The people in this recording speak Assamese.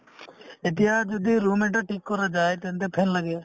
এতিয়া যদি room এটা ঠিক কৰা যায় তেন্তে fan লাগে